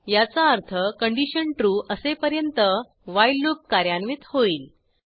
याचा अर्थ condition true असेपर्यंत व्हाईल लूप कार्यान्वित होईल